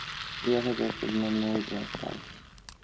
я хотел сегодня много стран